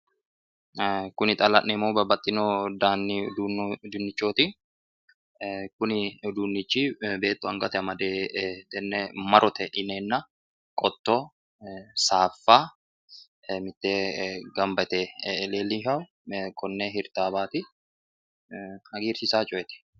ee kuni xa la'neemmohu babbaxino dani uduunnichooti ee kuni uduunnichi beettu angatenni amade ee tenne marote yineenna qotto saaffa mitteenni gamba yite leellishanno konne hirtaawaati hagiirsiisanno coyeeti.